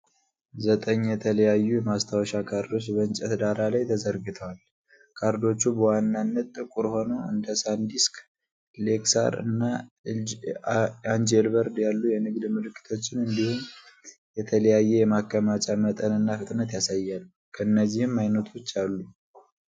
ዘጠኝ የተለያዩ የማስታወሻ ካርዶች በእንጨት ዳራ ላይ ተዘርግተዋል። ካርዶቹ በዋናነት ጥቁር ሆነው፣ እንደ ሳንዲስክ፣ ሌክሳር እና አንጄልበርድ ያሉ የንግድ ምልክቶችን እንዲሁም የተለያየ የማከማቻ መጠንና ፍጥነት ያሳያሉ፤ ከእነዚህም አይነቶች አሉ።